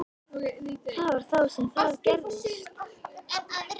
Það var þá sem það gerðist.